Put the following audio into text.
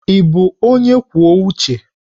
Ị bụ onye kwuo uche?